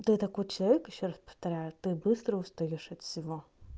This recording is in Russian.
ты такой человек ещё раз повторяю ты быстро устаёшь от всего